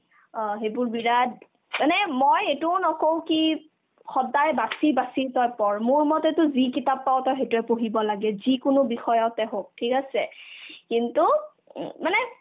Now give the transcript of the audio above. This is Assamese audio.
অ, সেইবোৰ বিৰাট এনে মই এইটোও অ' নকও কি সদাই বাচি বাচি তই পঢ় মোৰ মতেতো যি কিতাপ পাৱ তই সেইতোয়ে পঢ়িব লাগে যিকিনো বিষয়তে হওক ঠিক আছে কিন্তু উম মানে